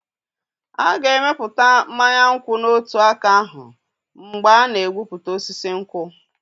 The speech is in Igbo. A ga-emepụta mmanya nkwụ n'otu aka ahụ mgbe a na-egbutu osisi nkwụ.